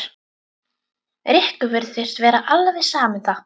Rikku virtist vera alveg sama um það.